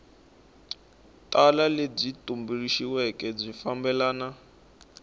tala lebyi tumbuluxiweke byi fambelana